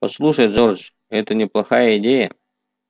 послушай джордж это неплохая идея